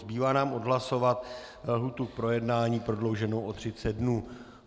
Zbývá nám odhlasovat lhůtu k projednání prodlouženou o 30 dnů.